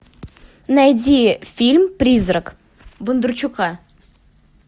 найди фильм призрак бондарчука